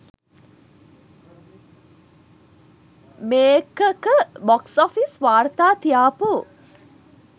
මේක ක box office වාර්තා තියාපු